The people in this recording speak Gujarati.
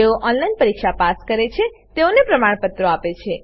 જેઓ ઓનલાઈન પરીક્ષા પાસ કરે છે તેઓને પ્રમાણપત્રો આપે છે